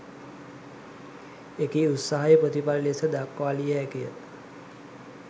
එකී උත්සාහයේ ප්‍රතිඵල ලෙස දක්වාලිය හැකි ය.